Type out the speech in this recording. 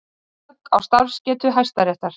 Högg á starfsgetu Hæstaréttar